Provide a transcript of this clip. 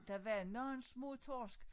Der var nogle små torsk